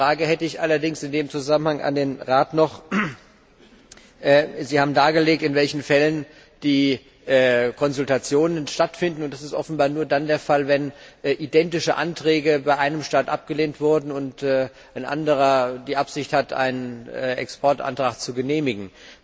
Eine Frage hätte ich in dem Zusammenhang allerdings noch an den Rat Sie haben dargelegt, in welchen Fällen die Konsultationen stattfinden, und das ist offenbar nur dann der Fall, wenn identische Anträge bei einem Staat abgelehnt wurden und ein anderer die Absicht hat, einen Exportantrag zu genehmigen.